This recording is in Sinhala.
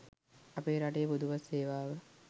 අපේ රටේ පොදු බස් සේවාව